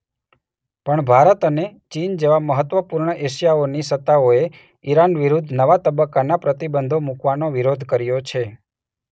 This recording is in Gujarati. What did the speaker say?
પણ ભારત અને ચીન જેવા મહત્વપૂર્ણ એશિયાની સત્તાઓએ ઇરાન વિરૂદ્ધ નવા તબક્કાના પ્રતિબંધો મૂકવાનો વિરોધ કર્યો છે.